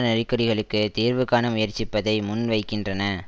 நெருக்கடிகளுக்குத் தீர்வு காண முயற்சிப்பதை முன் வைக்கின்றன